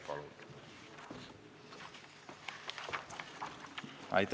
Palun!